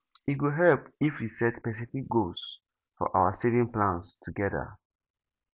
e go help if we set specific goals for our saving plans together